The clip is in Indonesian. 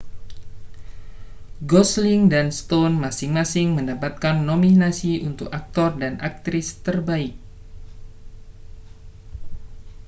gosling dan stone masing-masing mendapatkan nominasi untuk aktor dan aktris terbaik